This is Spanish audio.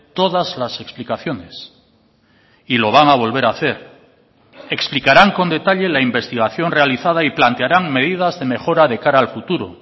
todas las explicaciones y lo van a volver a hacer explicarán con detalle la investigación realizada y plantearán medidas de mejora de cara al futuro